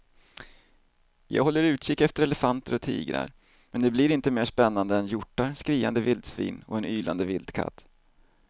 Jag håller utkik efter elefanter och tigrar men det blir inte mer spännande än hjortar, skriande vildsvin och en ylande vildkatt.